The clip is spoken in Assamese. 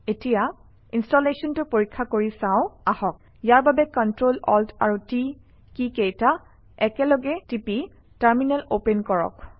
এতিয়া ইনষ্টেলেশ্যনটো পৰীক্ষা কৰি চাওঁ আহক ইয়াৰ বাবে কণ্ট্ৰল অল্ট আৰু T কীকেইটা একেলগে টিপি টাৰমিনেল অপেন কৰক